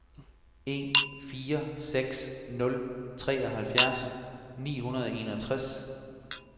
en fire seks nul treoghalvfjerds ni hundrede og enogtres